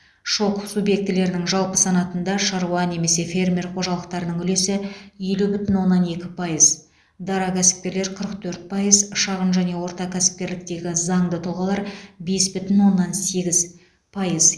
шок субъектілерінің жалпы санатында шаруа немесе фермер қожалықтарының үлесі елу бүтін оннан екі пайыз дара кәсіпкерлер қырық төрт пайыз шағын және орта кәсіпкерліктегі заңды тұлғалар бес бүтін оннан сегіз пайыз